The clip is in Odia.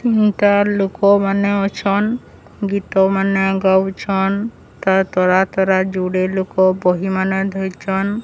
ଗାଁର୍ ଲୋକ ମାନେ ଅଛନ ଗୀତ ମାନ ଗାଉଛନ୍ ତା ତରା ତରା ଯୁଡେ ଲୋକ ବହି ମାନ ଧରିଚନ୍।